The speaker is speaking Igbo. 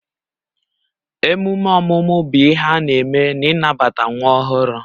Emume ọmụmụ bụ ihe a na-eme n'ịnabata nwa ọhụrụ